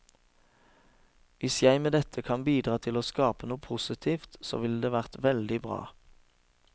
Hvis jeg med dette kan bidra til å skape noe positivt, så ville det vært veldig bra.